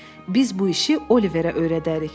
Biz bu işi Oliverə öyrədərik.